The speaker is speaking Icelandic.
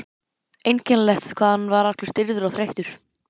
Einkennilegt hvað hann var allur stirður og þreyttur.